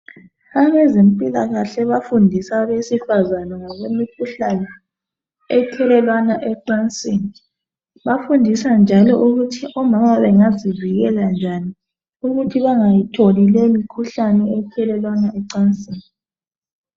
Abezempilakahle abafundisa abesifazana ngokwemikhuhlane ethelelwana ecansini. Bafundisa njalo ukuthi omama bengazivikela njani ukuthi bangayitholi leyi mikhuhlane ethelelwana ecansini.